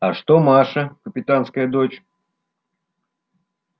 а что маша капитанская дочь